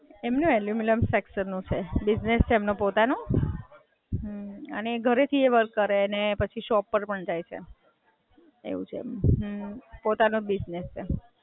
એમનું aluminium structure નું છે. બિજનેસ છે એમનો પોતાનો અને એ ઘરેથી એ વર્ક કરે અને પછી શોપ પર પણ જાય છે. એવું છે, પોતાનો જ બિજનેસ છે.